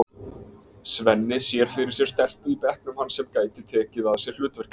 Svenni sér fyrir sér stelpu í bekknum hans sem gæti tekið að sér hlutverkið.